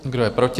Kdo je proti?